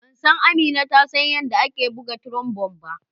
Ban san Amina ta san yarɗa ake buga trombone ba.